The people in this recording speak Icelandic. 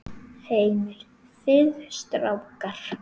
Heimir: Þið strákar?